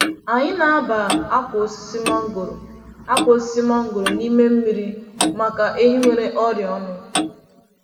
Anyị na-aba akwa osisi mangoro akwa osisi mangoro n’ime mmiri maka ehi nwere ọrịa ọnụ.